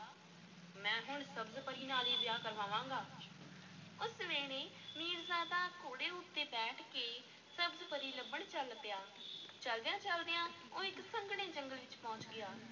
ਮੈਂ ਹੁਣ ਸ਼ਬਜ਼-ਪਰੀ ਨਾਲ ਹੀ ਵਿਆਹ ਕਰਵਾਵਾਂਗਾ, ਉਸ ਵੇਲੇ ਮੀਰਜ਼ਾਦਾ ਘੋੜੇ ਉੱਤੇ ਬੈਠ ਕੇ ਸਬਜ਼-ਪਰੀ ਲੱਭਣ ਚੱਲ ਪਿਆ ਚੱਲਦਿਆਂ-ਚੱਲਦਿਆਂ ਉਹ ਇੱਕ ਸੰਘਣੇ ਜੰਗਲ ਵਿੱਚ ਪਹੁੰਚ ਗਿਆ।